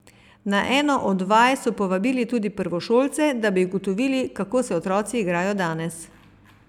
Na eno od vaj so povabili tudi prvošolce, da bi ugotovili, kako se otroci igrajo danes.